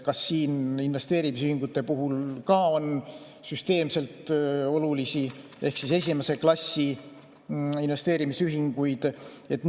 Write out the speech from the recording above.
Kas investeerimisühingute puhul ka on süsteemselt olulisi ehk esimese klassi investeerimisühinguid?